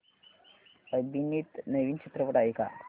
अभिनीत नवीन चित्रपट आहे का